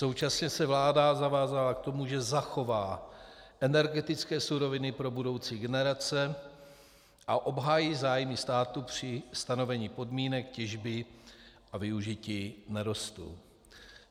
Současně se vláda zavázala k tomu, že zachová energetické suroviny pro budoucí generace a obhájí zájmy státu při stanovení podmínek těžby a využití nerostů.